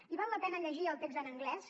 i val la pena llegir el text en anglès